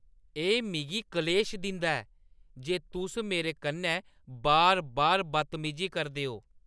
एह् मिगी क्लेश दिंदा ऐ जे तुस मेरे कन्नै बार-बार बदतमीजी करदे ओ।